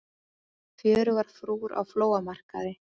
Fjörugar frúr á flóamarkaði